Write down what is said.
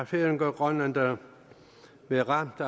færinger og grønlændere blevet ramt